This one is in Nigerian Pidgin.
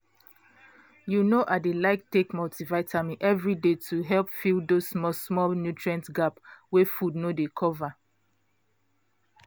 you know i dey like take multivitamin every day to help fill those small-small nutrient gap wey food no dey cover